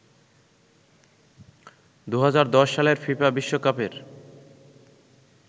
২০১০ সালের ফিফা বিশ্বকাপের